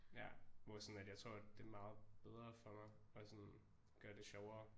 Ja hvor sådan at jeg tror at det er meget bedre for mig og sådan gør det sjovere